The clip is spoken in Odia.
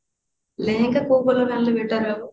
ଲେହେଙ୍ଗା କୋଉ colour ଆଣିଲେ better ହବ